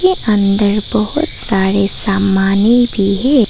के अंदर बहुत सारे सामाने भी है।